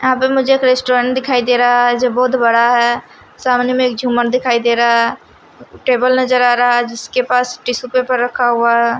अब मुझे एक रेस्टोरेंट दिखाई दे रहा है जो बहुत बड़ा है सामने में एक झूमर दिखाई दे रहा टेबल नजर आ रहा जिसके पास टीशू पेपर रखा हुआ है।